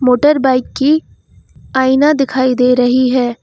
Motorbike की आइना दिखाई दे रही है।